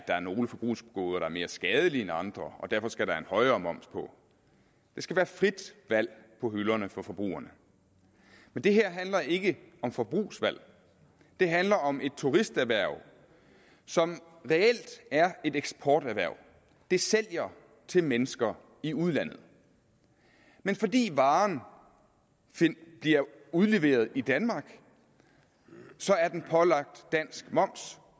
der er nogle forbrugsgoder der er mere skadelige end andre og derfor skal have højere moms på der skal være frit valg på hylderne for forbrugerne det her handler ikke om forbrugsvalg det handler om et turisterhverv som reelt er et eksporterhverv det sælger til mennesker i udlandet men fordi varen bliver udleveret i danmark er den pålagt dansk moms